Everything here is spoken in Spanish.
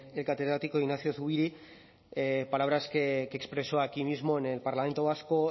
del catedrático ignacio zubiri palabras que expresó aquí mismo en el parlamento vasco